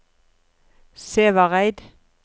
Sævareid